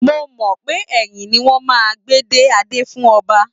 Mo mọ̀ pé ẹ̀yìn ni wọ́n máa ń gbé dé adé fún ọba